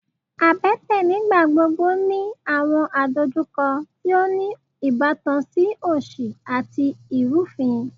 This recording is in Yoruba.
abẹ́tẹ̀ nígbàgbogbo ni àwọn àdojúkọ ti o ni ìbátan si òsì àti irufin